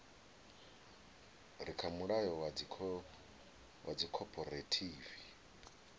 re kha mulayo wa dzikhophorethivi